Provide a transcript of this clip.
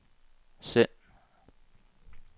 send